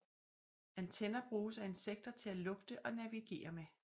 Antenner bruges af insekter til at lugte og navigere med